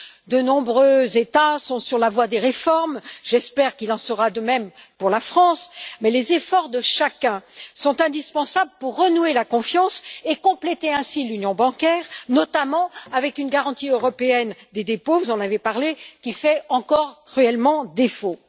De nombreux États sont sur la voie des réformes, j'espère qu'il en sera de même pour la France, mais les efforts de chacun sont indispensables pour renouer la confiance et compléter ainsi l'union bancaire, notamment avec une garantie européenne des dépôts vous en avez parlé qui fait encore cruellement défaut.